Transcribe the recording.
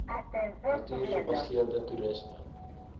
natuur gebaseerde toerisme